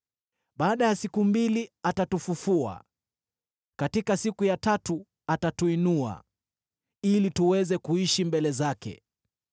Baada ya siku mbili atatufufua; katika siku ya tatu atatuinua, ili tuweze kuishi mbele zake.